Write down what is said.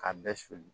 K'a bɛɛ suli